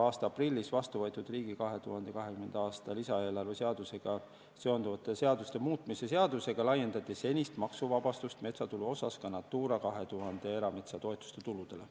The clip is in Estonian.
Aprillis vastu võetud riigi 2020. aasta lisaeelarve seadusega seonduvate seaduste muutmise seadusega laiendati senist metsatulu maksuvabastust ka Natura 2000 erametsatoetuste tuludele.